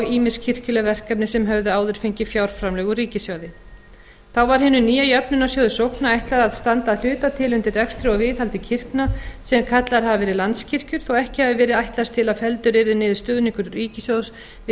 ýmis kirkjuleg verkefni sem höfðu áður fengið fjárframlög úr ríkissjóði þá var hinum nýja jöfnunarsjóði sókna ætlað að standa að hluta til undir rekstri og viðhaldi kirkna sem kallaðar hafa verið landskirkjur þótt ekki hafi verið ætlast til að felldur yrði niður stuðningur ríkissjóðs við